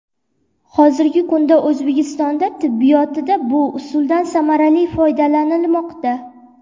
Hozirgi kunda O‘zbekistonda tibbiyotida bu usuldan samarali foydalanilmoqda.